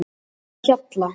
Litlahjalla